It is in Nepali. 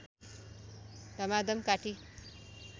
धमाधम काटी